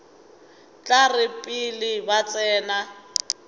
tla re pele ba tsena